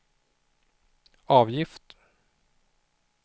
avgift